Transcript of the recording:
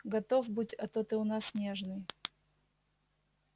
готов будь а то ты у нас нежный